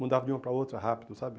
Mudava de uma para outra rápido, sabe?